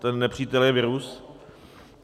Ten nepřítel je virus.